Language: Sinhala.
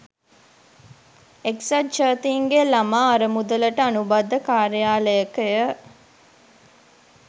එක්සත් ජාතින්ගේ ළමා අරමුදලට අනුබද්ධ කාර්යාලයකය.